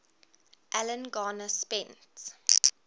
alan garner spent